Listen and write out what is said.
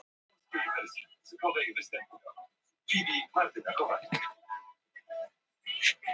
spóinn kemur helst fyrir í þjóðtrú í tengslum við veður